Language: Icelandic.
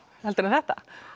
heldur en þetta